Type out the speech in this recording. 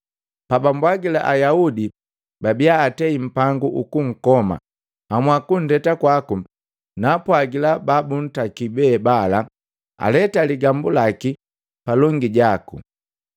Pabambwagila Ayaudi babia atei mpangu ukunkoma, nhamua kundeta kwaku, naapwagila babuntaki be bala aleta ligambu laki palongi jaku.